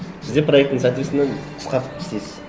сіз де проектіні соответственно қысқартып істейсіз